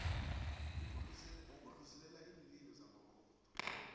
wokudlulisela iinlilo zamakhotho